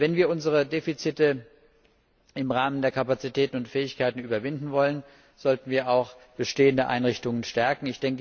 Wenn wir unsere Defizite im Rahmen der Kapazitäten und Fähigkeiten überwinden wollen, sollten wir auch bestehende Einrichtungen stärken.